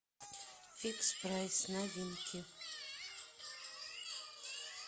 фикс прайс новинки